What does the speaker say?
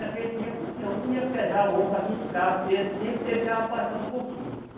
Naquele tempo, o peão não ia pesar o ouro para ficar, o peso sempre deixava passar um pouquinho.